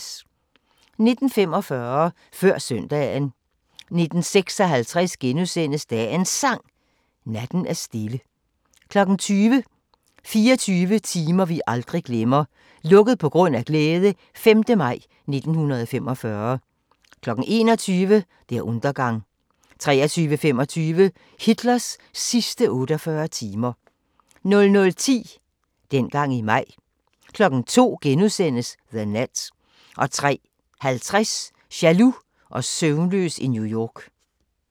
19:45: Før Søndagen 19:56: Dagens Sang: Natten er stille * 20:00: 24 timer vi aldrig glemmer - "Lukket på grund af glæde" - 5. maj 1945 21:00: Der Untergang 23:25: Hitlers sidste 48 timer 00:10: Dengang i maj 02:00: The Net * 03:50: Jaloux og søvnløs i New York